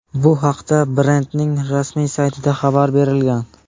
Bu haqda brendning rasmiy saytida xabar berilgan .